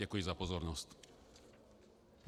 Děkuji za pozornost.